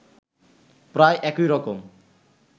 প্রায় একই রকম